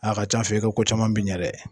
A' ka c'an fɛ i bɛ ko caman min bɛ dɛ.